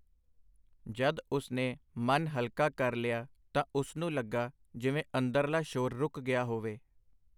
ਜਦ ਉਸਨੇ ਮਨ ਹਲਕਾ ਕਰ ਲਿਆ ਤਾਂ ਉਸਨੂੰ ਲੱਗਾ ਜਿਵੇ ਅੰਦਰਲਾ ਸ਼ੋਰ ਰੁਕ ਗਿਆ ਹੋਵੇ .